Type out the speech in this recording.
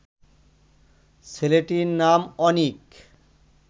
ছেলেটির নাম অনিক